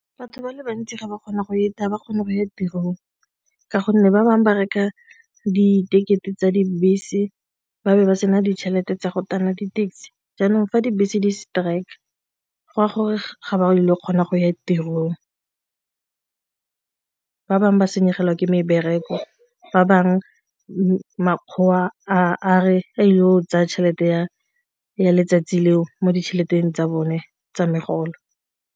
Batho ba le bantsi ga ba kgona go eta ba kgone go ya tirong ka gonne ba bangwe ba reka di-ticket-e tsa dibese ba be ba sena ditšhelete tsa go tana di-taxi jaanong fa dibese di-strike go a gore ga ba ile kgona go ya tirong ba bangwe ba senyegelwa ke mebereko, ba bangwe makgowa a re a yo o tsaya tšhelete ya ya letsatsi leo mo tšheleteng tsa bone tsa megolo.